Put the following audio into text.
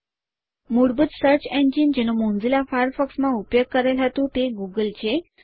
મૂળભૂત search engine જેનો Mozilla ફાયરફોક્સમાં ઉપયોગ કરેલ હતું તે ગૂગલ છે